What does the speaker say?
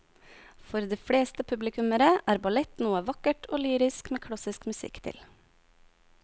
For de fleste publikummere er ballett noe vakkert og lyrisk med klassisk musikk til.